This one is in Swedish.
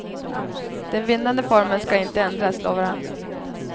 Den vinnande formeln ska inte ändras, lovar han.